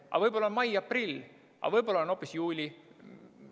Aga võib-olla on mai-aprill, aga võib-olla on hoopis juuli.